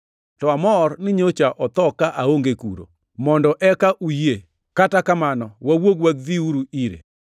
to amor ni nyocha otho ka aonge kuno, mondo eka uyie. Kata kamano, wawuog wadhiuru ire.”